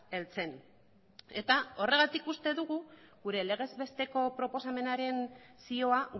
heltzen eta horregatik uste dugu gure legez besteko proposamenaren zioa